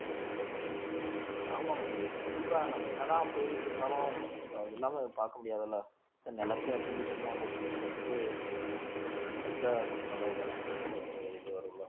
okay ஆமா ஆமா ஏய் கண்டிப்பா நம்ம என்னதான் போயிட்டிருந்தாலும் so அது இல்லாம பார்க்க முடியாது இல்ல நிலத்தையும் வச்சுக்கிட்டு சும்மா போட்டுட்டு இருக்கிறதுக்கு செஞ்சா நல்லதுதானே நம்மளுக்கு ஒரு இது வரும் இல்லை